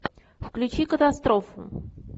включи катастрофу